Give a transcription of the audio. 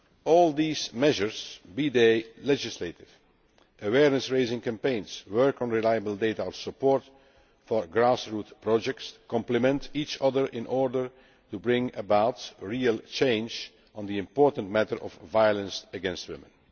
All these measures, be they legislative, awareness raising campaigns, work on reliable data or support for grass roots projects, complement each other in order to bring about real change on the important matter of violence against women.